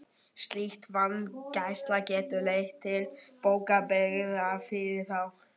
Slík vanræksla getur leitt til bótaábyrgðar fyrir þá.